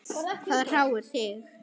Hvað hrjáir þig?